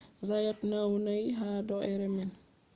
zayat naunai ha do’ere man